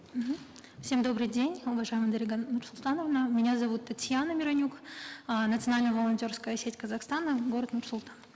мхм всем добрый день уважаемая дарига нурсултановна меня зовут татьяна миронюк э национальня волонтерская сеть казахстана город нур султан